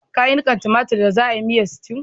Ka yi nikan tomatir da za'a yi miyan stew?